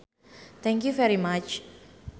Thank you very much